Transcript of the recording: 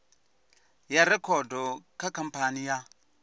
ya rekhodo kha khamphani ya